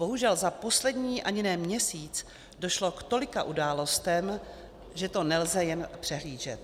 Bohužel za poslední ani ne měsíc došlo k tolika událostem, že to nelze jen přehlížet.